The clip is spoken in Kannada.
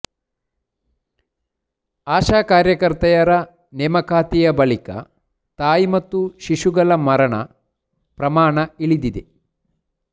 ಆಶಾ ಕಾರ್ಯಕರ್ತೆಯರ ನೇಮಕಾತಿಯ ಬಳಿಕ ತಾಯಿ ಮತ್ತು ಶಿಶುಗಳ ಮರಣ ಪ್ರಮಾಣ ಇಳಿದಿದೆ